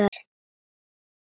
Stærðar hellir?